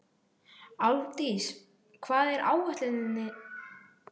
Álfdís, hvað er á áætluninni minni í dag?